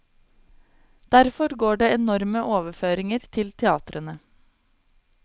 Derfor går det enorme overføringer til teatrene.